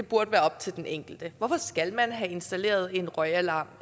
burde være op til den enkelte hvorfor skal man have installeret en røgalarm